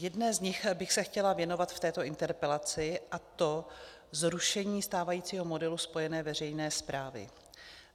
Jedné z nich bych se chtěla věnovat v této interpelaci, a to zrušení stávajícího modelu spojené veřejné správy.